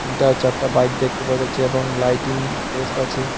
দুটা চারটা বাইক দেখতে পাওয়া যাচ্ছে এবং লাইটিং পোস্ট আছে।